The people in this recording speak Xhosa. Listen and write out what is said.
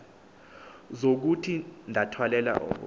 zokuthi ndathwalela ubu